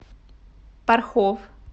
порхов